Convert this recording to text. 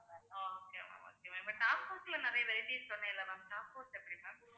okay ma'am okay ma'am but nakpods ல நிறைய varieties சொன்னேன்ல ma'am nakpods எப்படி ma'am